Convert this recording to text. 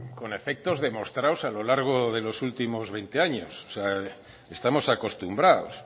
con efectos demostrados a lo largo de los últimos veinte años o sea estamos acostumbrados